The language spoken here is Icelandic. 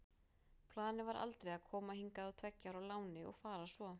Planið var aldrei að koma hingað á tveggja ára láni og fara svo.